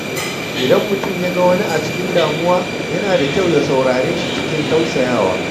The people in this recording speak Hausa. Idan mutum ya ga wani a cikin damuwa, yana da kyau ya saurare shi cikin tausayawa.